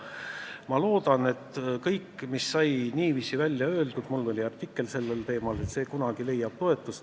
Ma loodan, et kõik, mis sai niiviisi välja öeldud – mul oli artikkel sellel teemal –, kunagi leiab toetust.